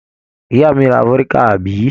Ìyá mi ra vódíkà, àbí?